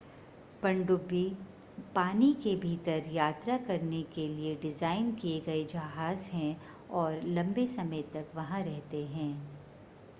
पनडुब्बी पानी के भीतर यात्रा करने के लिए डिज़ाइन किए गए जहाज़ हैं और लंबे समय तक वहां रहते हैं